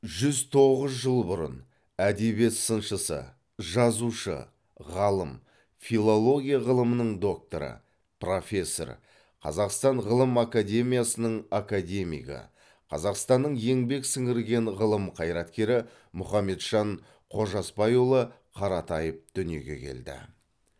жүз тоғыз жыл бұрын әдебиет сыншысы жазушы ғалым филология ғылымының докторы профессор қазақстан ғылым академиясының академигі қазақстанның еңбек сіңірген ғылым қайраткері мұхамеджан қожасбайұлы қаратаев дүниеге келді